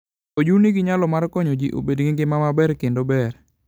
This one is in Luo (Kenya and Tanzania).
Oju nigi nyalo mar konyo ji bedo gi ngima maber kendo ber.